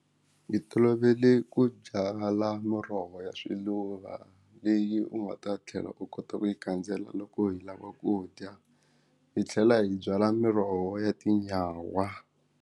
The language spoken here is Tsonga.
Hi tolovele ku byala muroho ya swiluva leyi u nga ta tlhela u kota ku yi kandzela loko hi lava ku dya hi tlhela hi byala miroho ya tinyawa.